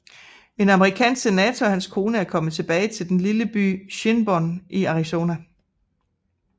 En amerikansk senator og hans kone er kommet tilbage til den lille by Shinbone i Arizona